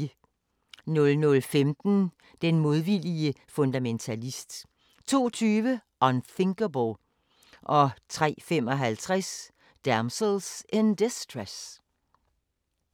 00:15: Den modvillige fundamentalist 02:20: Unthinkable 03:55: Damsels in Distress